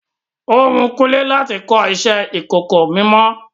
Ó wun Kúnlé láti kọ iṣẹ ìkọ̀kọ̀ mímọ.